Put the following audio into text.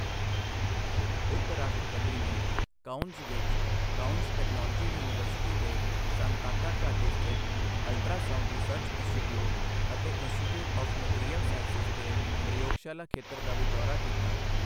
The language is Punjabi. ਉਪ ਰਾਸ਼ਟਰਪਤੀ ਨੇ ਕਾਉਨਸ ਵਿੱਚ ਕਾਉਨਸ ਟੈਕਨੋਲੋਜੀ ਯੂਨੀਵਰਸਿਟੀ ਦੇ ਸਾਂਤਾਕਾ ਘਾਟੀ ਸਥਿਤ ਅਲਟਰਾ ਸਾਂਊਡ ਰਿਸਰਚ ਇੰਸਟੀਟਿਊਟ ਅਤੇ ਇੰਸਟੀਟਿਊਟ ਆਵ੍ ਮੈਟੀਰੀਅਲ ਸਾਂਈਸਿਜ਼ ਦੇ ਪ੍ਰਯੋਗਸ਼ਾਲਾ ਖੇਤਰ ਦਾ ਵੀ ਦੌਰਾ ਕੀਤਾ।